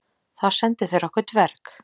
Þá sendu þeir okkur dverg.